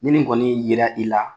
Ni nin kɔni yera i la